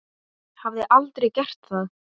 Hafði aldrei gert það.